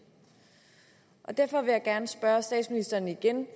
derfor vil jeg gerne spørge statsministeren igen